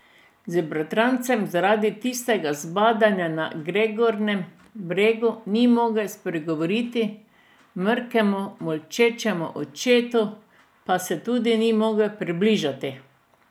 Z bratrancem zaradi tistega zbadanja na Gergornem bregu ni mogel spregovoriti, mrkemu, molčečemu očetu pa se tudi ni mogel približati.